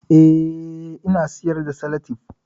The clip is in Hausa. Eh, ina siyar da salatif